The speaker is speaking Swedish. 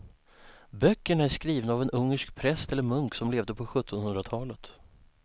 Böckerna är skrivna av en ungersk präst eller munk som levde på sjuttonhundratalet.